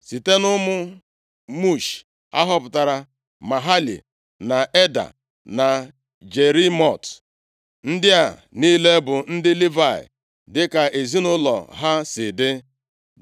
Site nʼụmụ Mushi, a họpụtara Mahali, na Eda na Jerimot. Ndị a niile bụ ndị Livayị dịka ezinaụlọ ha si dị.